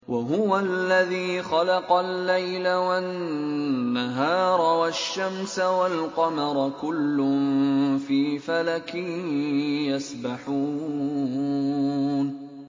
وَهُوَ الَّذِي خَلَقَ اللَّيْلَ وَالنَّهَارَ وَالشَّمْسَ وَالْقَمَرَ ۖ كُلٌّ فِي فَلَكٍ يَسْبَحُونَ